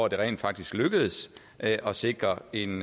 at det rent faktisk lykkedes at sikre en